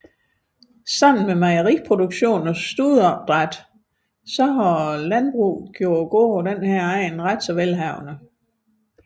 Sammen med mejeriproduktion og studeopdræt har landbruget gjort gårdene på denne egn yderst velhavende